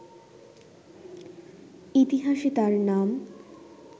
ইতিহাসে তার নাম